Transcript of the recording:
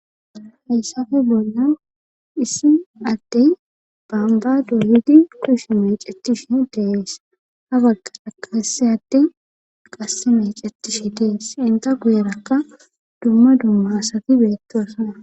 Hayssafe bolnan issi addey baamba dolidi kush mecetishi dees ha bagga akaseyade qase mecetish dees inta guyerakka dumma dumma asati beettoosana.